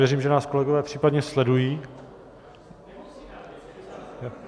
Věřím, že nás kolegové případně sledují.